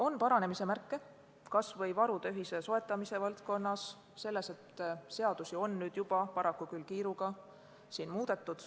On näha paranemise märke, kas või varude ühise soetamise valdkonnas ning selles, et seadusi on nüüdseks juba muudetud, paraku küll kiiruga.